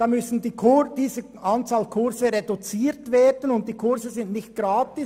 Dann müssen die Anzahl Kurse reduziert werden, und die Kurse sind nicht gratis.